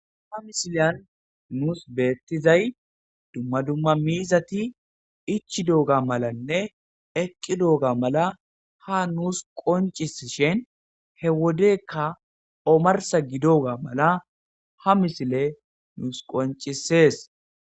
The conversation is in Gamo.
Ha misileyan nuus beettizay dumma dumma miizati ichi dooga malanne eqqi dooga mala ha nuus qoncis shen he wodekka omarsa gidoga mala ha misile nuus qoncisees.